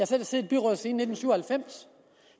selv siddet i byrådet siden nitten syv og halvfems